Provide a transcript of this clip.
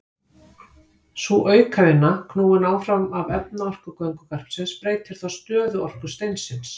Sú aukavinna, knúin áfram af efnaorku göngugarpsins, breytir þá stöðuorku steinsins.